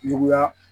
Juguya